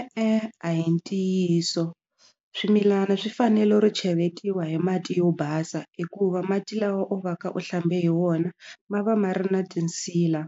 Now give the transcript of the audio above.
E-e a hi ntiyiso swimilana swi fanele ro cheletiwa hi mati yo basa hikuva mati lawa u va ka u hlambe hi wona ma va ma ri na tinsila